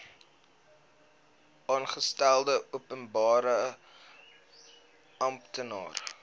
aangestelde openbare amptenaar